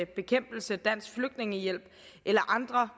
bekæmpelse dansk flygtningehjælp eller andre